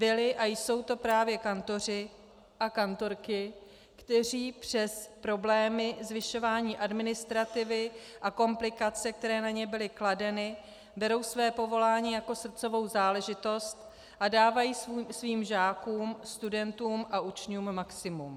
Byli a jsou to právě kantoři a kantorky, kteří přes problémy, zvyšování administrativy a komplikace, které na ně byly kladeny, berou své povolání jako srdcovou záležitost a dávají svým žákům, studentům a učňům maximum.